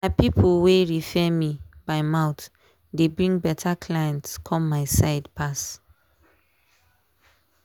na people wey refer me by mouth dey bring better clients come my side pass.